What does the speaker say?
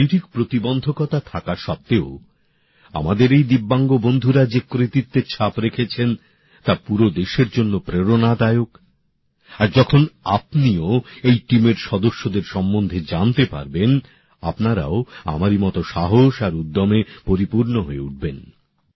শারীরিক প্রতিবন্ধকতা থাকা সত্ত্বেও আমাদের এই দিব্যাঙ্গ বন্ধুরা যে কৃতিত্বের ছাপ রেখেছেন তা পুরো দেশের জন্য প্রেরণাদায়ক আর যখন আপনিও এই টিমের সদস্যদের সম্বন্ধে জানতে পারবেন আপনারাও আমারই মত সাহস আর উদ্যমে পরিপূর্ণ হয়ে উঠবেন